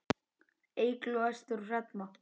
Eygló, Ester og Hrefna.